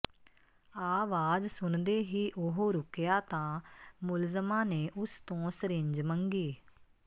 ਆਵਾਜ਼ ਸੁਣਦੇ ਹੀ ਉਹ ਰੁਕਿਆ ਤਾਂ ਮੁਲਜ਼ਮਾਂ ਨੇ ਉਸ ਤੋਂ ਸਰਿੰਜ ਮੰਗੀ